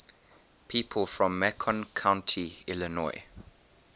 people from macon county illinois